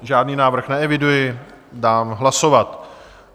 Žádný návrh neeviduji, dám hlasovat.